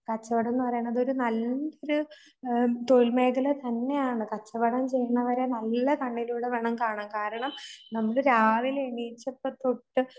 കച്ചവടംന്നു പറയുന്നതൊരു നല്ലൊ തൊഴിൽ മേഖല തന്നെയാണ്. കച്ചവടം ചെയ്യുന്നവരെ നല്ല കണ്ണിലൂടെ വേണം കാണാൻ. കാരണം നമ്മള് രാവിലെ എണീറ്റപ്പതൊട്ട്